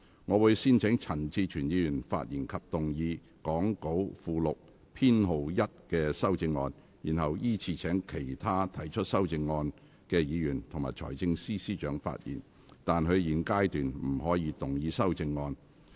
我會先請陳志全議員發言及動議講稿附錄編號1的修正案，然後依次請其他提出修正案的議員及財政司司長發言；但他們在現階段不可動議修正案。